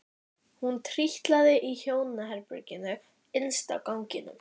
Hún trítlaði að hjónaherberginu innst á ganginum.